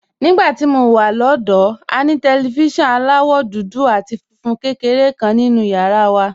Nígbà tí mo wà lọ́dọ̀ọ́, a ní tẹlifíṣọ̀n aláwọ̀ dúdú àti funfun kékeré kan nínú yàrá wa.